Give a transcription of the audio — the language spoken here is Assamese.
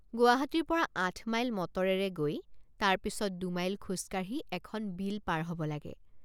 গুৱাহাটীৰ পৰা আঠমাইল মটৰেৰে গৈ তাৰ পিচত দুমাইল খোজকাঢ়ি এখন বিল পাৰ হ’ব লাগে।